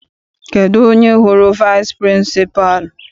Kedụ onye hụrụ vici pịrịnsịpalụ?